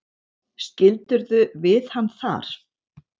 Skildirðu við hann þar?